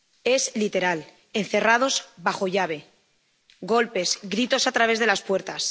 Es literal encerrados bajo llave, golpes, gritos a través de las puertas